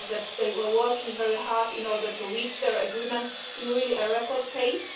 they were working very hard in order to reach their agreement at a really record pace.